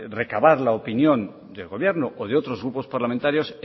recabar la opinión del gobierno o de otros grupos parlamentarios